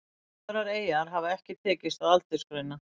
Aðrar eyjar hefur ekki tekist að aldursgreina.